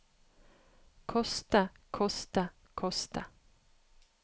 koste koste koste